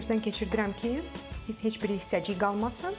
Gözdən keçirdirəm ki, heç bir hissəcik qalmasın.